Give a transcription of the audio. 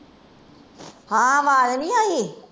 ਹਾਂ ਆਵਾਜ਼ ਨੀ ਆਈ